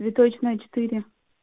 цветочная четыре